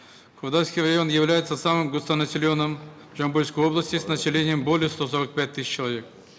кордайский район является самым густонаселенным в жамбылской области с населением более ста сорока пяти тысяч человек